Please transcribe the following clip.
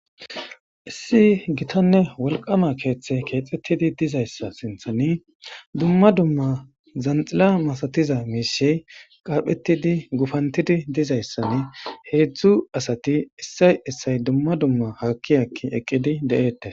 Issi gitanne wolqama kethayi kexetidi dizayisa sintani duma duma zanxila masatiza mishayi qaphetidi gufantidi dizayisa hedzdzu asati isoyi isoyi duma duma haki haki eqidi de,etes